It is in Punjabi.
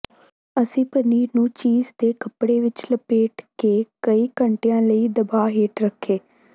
ਅਸੀਂ ਪਨੀਰ ਨੂੰ ਚੀਜ਼ ਦੇ ਕੱਪੜੇ ਵਿਚ ਲਪੇਟ ਕੇ ਕਈ ਘੰਟਿਆਂ ਲਈ ਦਬਾਅ ਹੇਠ ਰੱਖੇ